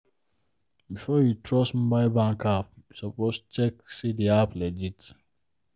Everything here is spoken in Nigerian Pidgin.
before you trust mobile bank app you suppose check say the app legit.